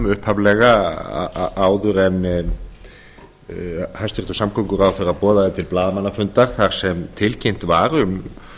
upphaflega áður en hæstvirtur samgönguráðherra boðaði til blaðamannafundar þar sem tilkynnt var um